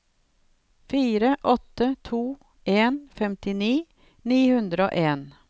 fire åtte to en femtini ni hundre og en